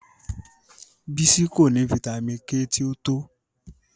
Bísi kò ní fítamì K tì o tó